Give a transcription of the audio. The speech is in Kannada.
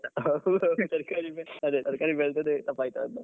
ಹೌದ್ ಹೌದು ತರ್ಕಾರಿನೆ ತರ್ಕಾರಿ ಬೆಳ್ದದ್ದೆ ಅದೇ ತರ್ಕಾರಿ ಬೆಳ್ದದ್ದೆ ತಪ್ಪಾಯ್ತಾ ಅಂತ.